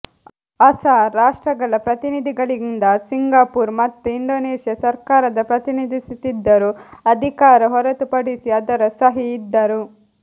ಅಸ ರಾಷ್ಟ್ರಗಳ ಪ್ರತಿನಿಧಿಗಳಿಂದ ಸಿಂಗಾಪುರ್ ಮತ್ತು ಇಂಡೋನೇಷ್ಯಾ ಸರ್ಕಾರದ ಪ್ರತಿನಿಧಿಸುತ್ತಿದ್ದರು ಅಧಿಕಾರ ಹೊರತುಪಡಿಸಿ ಅದರ ಸಹಿ ಇದ್ದರು